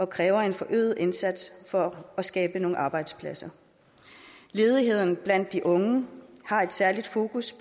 kræver en forøget indsats for at skabe nogle arbejdspladser ledigheden blandt de unge har et særligt fokus